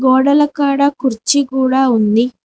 గోడల కాడ కుర్చీ కూడా ఉంది.